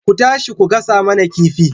Ku tashi ku gasa mana kifi